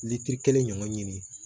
Litiri kelen ɲɔgɔn ɲini